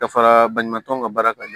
Ka fara baɲumankɛw ka baara kan